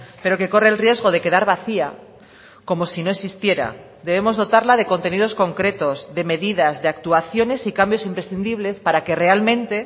pero que corre el riesgo de quedar vacía como si no existiera debemos dotarla de contenidos concretos de medidas de actuaciones y cambios imprescindibles para que realmente